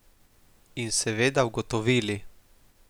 In seveda ugotovili.